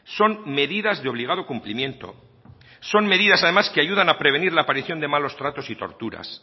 son medidas de obligado cumplimiento son medidas además que ayudan a prevenir la aparición de malos tratos y torturas